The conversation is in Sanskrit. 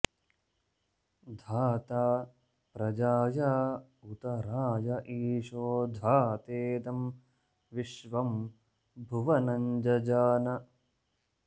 धा॒ता प्र॒जाया॑ उ॒त रा॒य ई॑शे धा॒तेदं विश्वं॒ भुव॑नं जजान